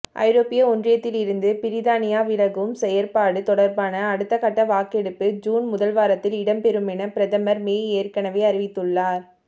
ஐரோப்பிய ஒன்றியத்திலிருந்து பிரித்தானியா விலகும் செயற்பாடு தொடர்பான அடுத்தகட்ட வாக்கெடுப்பு ஜூன் முதல்வாரத்தில் இடம்பெறுமென பிரதமர் மே ஏற்கனவே அறிவித்துள்ளார்